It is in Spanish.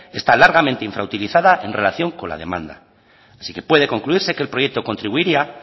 está largamente infrautilizada en relación con la demanda así que puede concluirse que el proyecto contribuiría